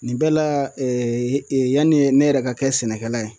Nin bɛɛ la yani ne yɛrɛ ka kɛ sɛnɛkɛla ye